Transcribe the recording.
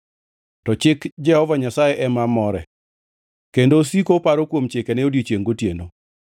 To chik Jehova Nyasaye ema more, kendo osiko oparo kuom chikene odiechiengʼ gotieno.